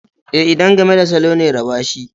E, idan game da salo ne raba shi.